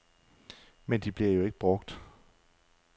Men de bliver jo ikke brugt.